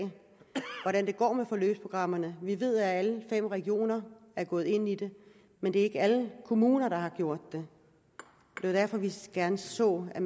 hvordan det går med forløbsprogrammerne vi ved at alle fem regioner er gået ind i det men det er ikke alle kommuner der har gjort det det er derfor vi gerne så at